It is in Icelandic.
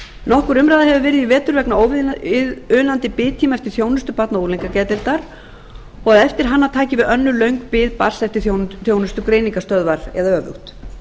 nokkur umræða hefur verið í vetur vegna óviðunandi biðtíma eftir þjónustu barna og unglingageðdeildar og eftir hana taki við önnur löng bið barns eftir þjónustu greiningarstöðvar eða öfugt